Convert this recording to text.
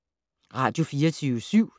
Radio24syv